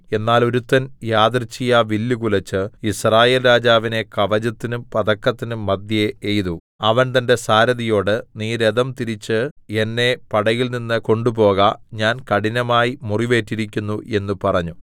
എന്നാൽ ഒരുത്തൻ യദൃച്ഛയാ വില്ലു കുലച്ച് യിസ്രായേൽരാജാവിനെ കവചത്തിനും പതക്കത്തിനും മദ്ധ്യേ എയ്തു അവൻ തന്റെ സാരഥിയോട് നീ രഥം തിരിച്ച് എന്നെ പടയിൽനിന്ന് കൊണ്ടുപോക ഞാൻ കഠിനമായി മുറിവേറ്റിരിക്കുന്നു എന്ന് പറഞ്ഞു